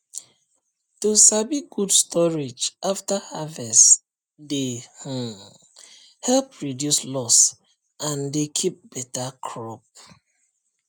to sabi good storage after harvest dey um help reduce loss and dey keep beta crop